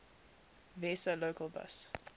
vesa local bus